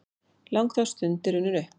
Langþráð stund er runnin upp!